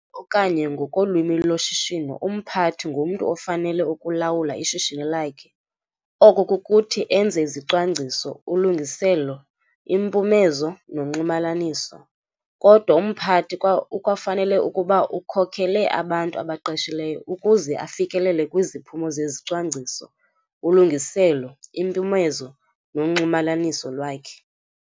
Okanye ngokolwimi loshishino umphathi ngumntu ofanele ukulawula ishishini lakhe, oko kukuthi enze izicwangciso, ulungiselelo, impumezo nonxumalaniso. Kodwa umphathi ukwafanele ukuba ukhokele abantu abaqeshileyo ukuze afikelele kwiziphumo zezicwangciso, ulungiselo, impumezo nonxumalaniso lwakhe.